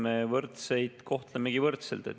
Me võrdseid kohtlemegi võrdselt.